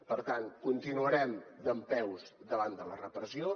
per tant continuarem dempeus davant de la repressió